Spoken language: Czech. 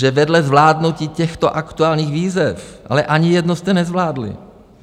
Že vedle zvládnutí těchto aktuálních výzev - ale ani jednu jste nezvládli.